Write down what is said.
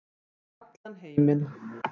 Og allan heiminn.